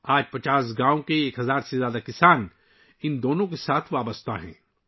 آج 50 گاؤں کے 1000 سے زیادہ کسان ، ان سے وابستہ ہیں